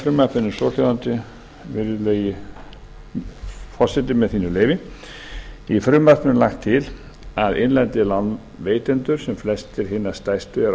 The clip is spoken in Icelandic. frumvarpinu er svohljóðandi virðulegi forseti með þínu leyfi í frumvarpinu er lagt til að innlendir lánveitendur sem flestir hinna stærstu eru á